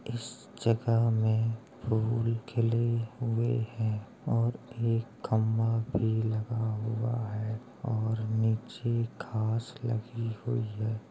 इस जगह में फूल खिले हुए हैं और एक खंबा लगा हुआ है और नीचे घास लगी हुई है।